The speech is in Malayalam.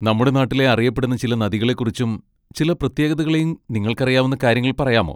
നമ്മുടെ നാട്ടിലെ അറിയപ്പെടുന്ന ചില നദികളെക്കുറിച്ചും ചില പ്രത്യേകതകളെയും നിങ്ങൾക്കറിയാവുന്ന കാര്യങ്ങൾ പറയാമോ?